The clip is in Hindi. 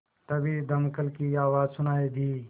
तभी दमकल की आवाज़ सुनाई दी